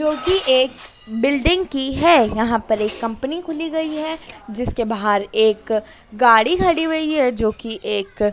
जोकि एक बिल्डिंग की है यहां पर एक कंपनी खुली गई है जिसके बाहर एक गाड़ी खड़ी हुई है जो कि एक--